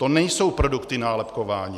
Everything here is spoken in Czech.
To nejsou produkty nálepkování.